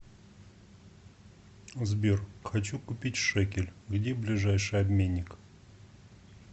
сбер хочу купить шекель где ближайший обменник